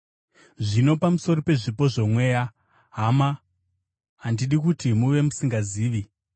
Zvino pamusoro pezvipo zvoMweya, hama, handidi kuti muve musingazivi.